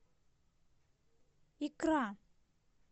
икра